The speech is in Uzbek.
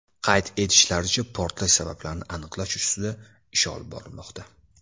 Qayd etishlaricha, portlash sabablarini aniqlash ustida ish olib borilmoqda.